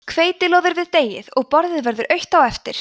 hveitið loðir við deigið og borðið verður autt á eftir